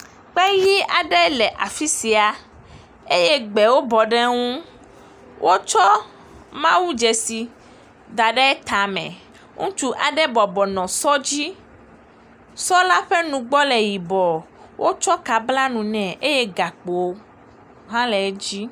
kpeyi aɖe le afisia eye gbewo bɔ ɖe ŋu wótsɔ mawu dzesi daɖe tame ŋustsu aɖe bɔbɔnɔ sɔ dzi sɔ la ƒe nugbɔ le yibɔ etsɔ ka bla nu nɛ eye gakpo hã le edzi